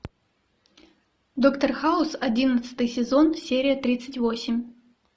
доктор хаус одиннадцатый сезон серия тридцать восемь